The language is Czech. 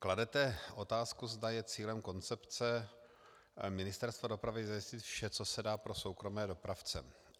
Kladete otázku, zda je cílem koncepce Ministerstva dopravy zajistit vše, co se dá, pro soukromé dopravce.